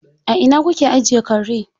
A ina kuke ajiye kare?